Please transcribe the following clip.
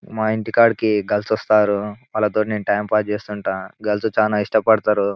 మా ఇంటి కాడికి గర్ల్స్ వస్తారు వాళ్లతోనే నేను టైమ్స్ పాస్ చేస్తుంటా గర్ల్స్ చాలా ఇష్టపడతారు.